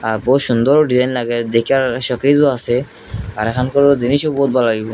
আর বহুত সুন্দরো ডিজাইন লাগাই দেখার শোকেজও আছে আর এখানকারো জিনিসও বহুত ভাল লাগে মিয়া।